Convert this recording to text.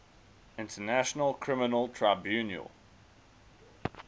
international criminal tribunal